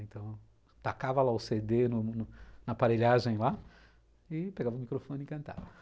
Então, tacava lá o cê dê na aparelhagem lá e pegava o microfone e cantava.